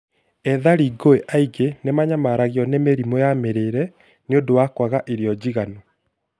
Ethari ngũĩ aingĩ nĩmanyamaragio nĩ mĩrimũ ya mĩrĩre nĩũndũ wa kwaga irio njigananu